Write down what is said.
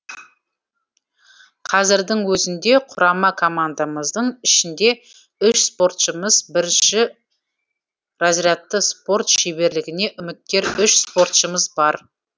қазірдің өзінде құрама командамыздың ішінде үш спортшымыз бірінші разрядты спорт шеберлігіне үміткер үш спортшымыз бар